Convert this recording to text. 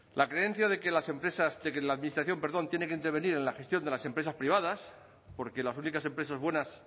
la creencia de que las empresas de que la administración perdón tiene que intervenir en la gestión de las empresas privadas porque las únicas empresas buenas